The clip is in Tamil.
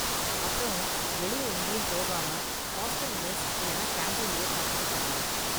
அப்புறம், வெளியே எங்கேயும் போகாம ஹாஸ்டல் மெஸ் இல்லன்னா கேண்டீன்லயே சாப்பிட்டுக்க சொல்லுங்க